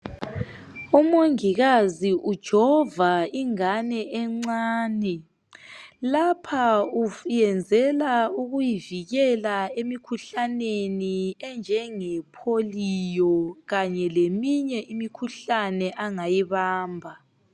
Umongikazi ujova ingane encane. Lapha uyenzela ukuyivikela emikhuhlaneni enjenge polio kanye leminye imikhuhlane angayibamba.